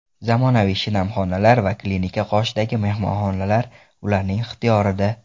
Zamonaviy shinam xonalar va klinika qoshidagi mehmonxonalar ularning ixtiyorida.